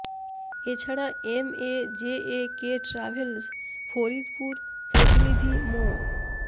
এ ছাড়া M A J A K travels Faridpur প্রতিনিধি মো